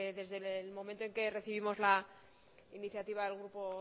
desde el momento en que recibimos la iniciativa del grupo